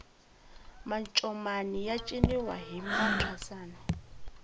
mancomani ya ciniwa hi mathwasani